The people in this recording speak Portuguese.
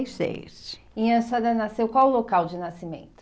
e seis. E a senhora nasceu qual local de nascimento?